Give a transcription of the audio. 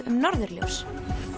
um norðurljós